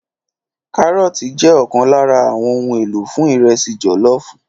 Kárọ́ọ̀tì jẹ́ ọ̀kan lára àwọn ohun èlò fún ìrẹsì jọ̀lọ́ọ̀fù.